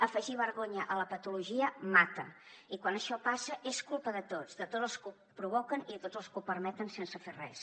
afegir vergonya a la patologia mata i quan això passa és culpa de tots de tots els que ho provoquen i de tots els que ho permeten sense fer res